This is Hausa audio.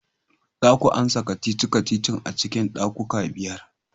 Za ku amsa kacici-kacicin a cikin daƙiƙa biyar!